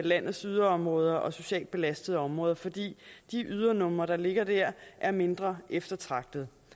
landets yderområder og de socialt belastede områder fordi de ydernumre der ligger der er mindre eftertragtede